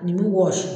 Nin bi wɔsi